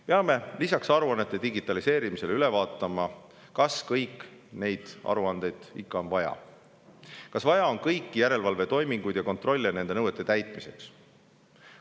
Peame lisaks aruannete digitaliseerimisele üle vaatama, kas kõiki neid aruandeid ikka on vaja, kas on tarvis kõiki järelevalvetoiminguid ja kontrolle nõuete täitmise üle.